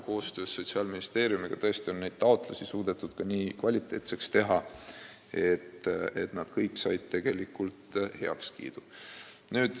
Koostöös Sotsiaalministeeriumiga suudeti tõesti taotlused nii kvaliteetseks teha, et nad kõik said heakskiidu.